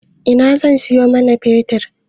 A ina zan siyo man fetir?